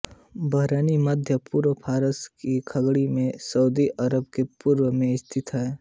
Bahrain मध्य पूर्व फारस की खाड़ी में सऊदी अरब के पूर्व में स्थित है